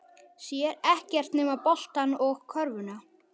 Sér ekkert nema boltann og körfuna.